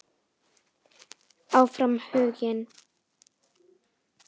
Áfram Huginn.